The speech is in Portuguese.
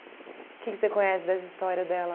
Que que você conhece dessa história dela?